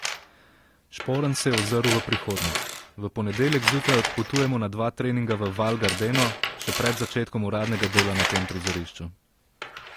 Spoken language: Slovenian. Šporn se je ozrl v prihodnost: 'V ponedeljek zjutraj odpotujemo na dva treninga v Val Gardeno še pred začetkom uradnega dela na tem prizorišču.